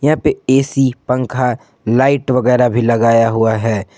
यहां पर ऐ_सी पंखा लाइट वगैरा भी लगाया हुआ है।